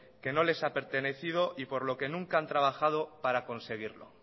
que no les ha pertenecido y por lo que nunca han trabajado para conseguirlo